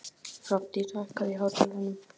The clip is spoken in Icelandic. Hrafndís, hækkaðu í hátalaranum.